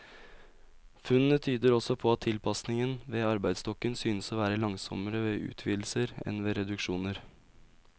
Funnene tyder også på at tilpasningen av arbeidsstokken synes å være langsommere ved utvidelser enn ved reduksjoner.